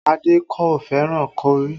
Adé kò fẹ́ràn kọrí